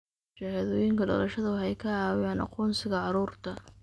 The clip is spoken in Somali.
Shahaadooyinka dhalashada waxay ka caawiyaan aqoonsiga carruurta.